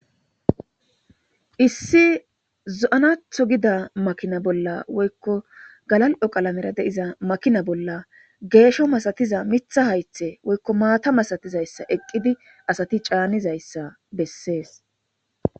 Issi zo'anatho gida makina bolla woyko gakal'o medhot diza makina bolla gesho masatiza Mitha haythe woyko mata malatizaysa eqid asat canizaysa beses.